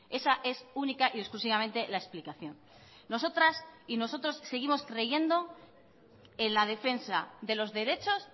esa es única y exclusivamente la explicación nosotras y nosotros seguimos creyendo en la defensa de los derechos